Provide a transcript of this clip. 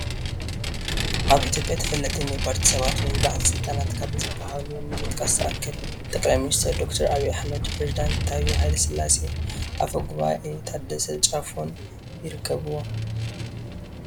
ኣብ ኢ/ያ ተፈለጥቲ ናይ ፖለቲ ሰባት ወይ ባለስልጣናት ካብ ዝባሃሉ ንምጥቃስ ዝኣክል፣ ጠ/ ሚ/ ዶ/ ኣብይ ኣሕመድ፣ ኘሬዚደንት ታዬ ሃ/ስላሴ፣ ኣፈ ጉባኤ ታደሰ ጫፎን ይርከብዎም፡፡